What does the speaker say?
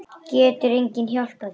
Getur enginn hjálpað þér?